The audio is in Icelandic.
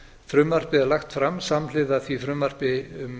frumvarpið er lagt fram samhliða því frumvarpi